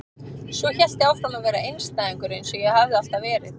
Svo hélt ég áfram að vera einstæðingur eins og ég hafði alltaf verið.